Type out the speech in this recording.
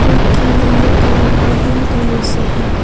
जोकि yellow colour और green colour से हैं।